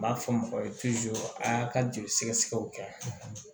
N b'a fɔ mɔgɔ ye a y'a ka jeli sɛgɛsɛgɛw kɛ